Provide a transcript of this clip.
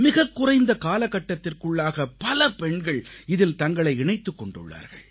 மிகக்குறைந்த காலகட்டத்திற்குள்ளாக பல பெண்கள் இதில் தங்களை இணைத்துக் கொண்டுள்ளார்கள்